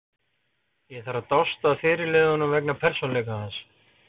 Ég þarf að dást að fyrirliðanum vegna persónuleika hans.